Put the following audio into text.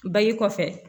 Bange kɔfɛ